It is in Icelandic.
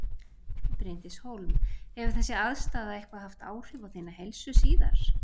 Bryndís Hólm: Hefur þessi aðstaða eitthvað haft áhrif á þína heilsu síðar?